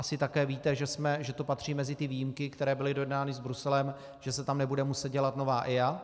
Asi také víte, že to patří mezi ty výjimky, které byly dojednány s Bruselem, že se tam nebude muset dělat nová EIA.